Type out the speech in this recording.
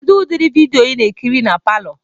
Kedu udiri vidịo ị na-ekiri na palọ?